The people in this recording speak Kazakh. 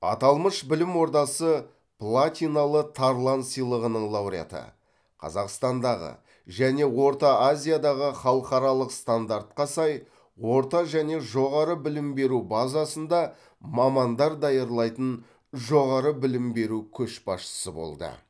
аталмыш білім ордасы платиналы тарлан сыйлығының лауреаты қазақстандағы және орта азиядағы халықаралық стандартқа сай орта және жоғары білім беру базасында мамандар даярлайтын жоғары білім беру көшбасшысы болды